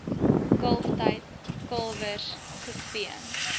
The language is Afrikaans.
kalftyd kalwers gespeen